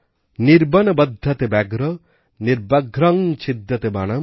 নির্বাণা বাধ্যাতে ব্যাঘ্র নিব্যাঘ্রং ছিদ্যতে বনাম